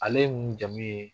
Ale mun jamu ye